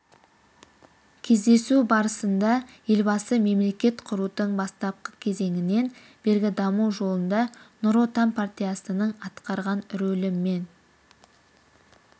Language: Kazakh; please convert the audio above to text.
кездесу барысында елбасы мемлекет құрудың бастапқы кезеңінен бергі даму жолында нұр отан партиясының атқарған рөлі мен